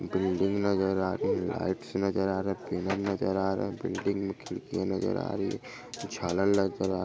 building नजर आ रही है लाइट्स नजर आ रहे है केबल नजर आ रहे है बिल्डिंग मे खिड़कियां नजर आ रही हैं झालर नजर--